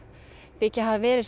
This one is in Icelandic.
þykja hafa verið